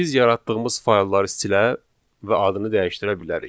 Biz yaratdığımız faylları silə və adını dəyişdirə bilərik.